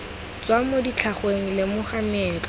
tswa mo ditlhangweng lemoga meetlo